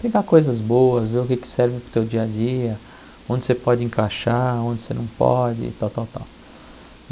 Pegar coisas boas, ver o que serve para o teu dia a dia, onde você pode encaixar, onde você não pode e tal, tal, tal.